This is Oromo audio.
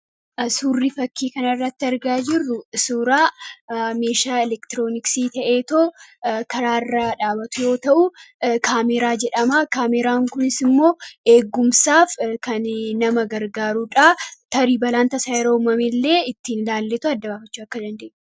suurri fakii kana irratti argaa jirru suuraa meeshaa elektirooniksii ta'eetoo karaa irraa dhaabatu yoo ta'uu, kaameraa jedhama. kaameeraan kunis immoo eeggumsaaf kan nama gargaaruudha. tarii balaan tasaa yaroo uumame illee ittiin ilaallee adda baafachuu akka dandeenyudha.